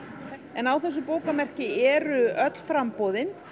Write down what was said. en á þessu bókamerki eru öll framboðin